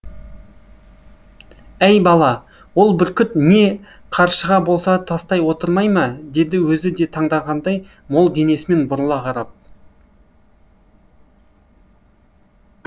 әй бала ол бүркіт не қаршыға болса таста отырмай ма деді өзі де таңданғандай мол денесімен бұрыла қарап